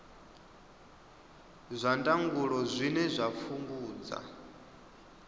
zwa ndangulo zwine zwa fhungudza